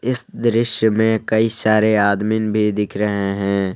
इस दृश्य में कई सारे आदमीन भी दिख रहे हैं।